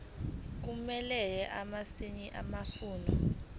kumele asayine amafomu